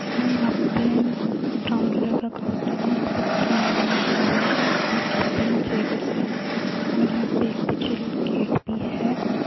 यहाँ पे brown colour का कॉउंटर है | यहाँ पे तीन आदमी खड़े हुए है और तिन चेयर्स है और यहा पे एक पीछे एक गेट भी है |